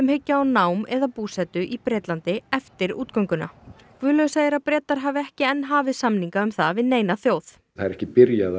hyggja á nám eða búsetu í Bretlandi eftir Guðlaugur segir að Bretar hafi ekki enn hafið samninga um það við neina þjóð það er ekki byrjað